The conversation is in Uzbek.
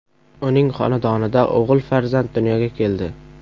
Uning xonadonida o‘g‘il farzand dunyoga keldi.